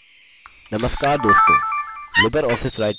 नमस्कार दोस्तों